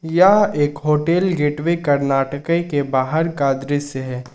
यह एक hotel gateway Karnataka के बाहर का दृश्य है।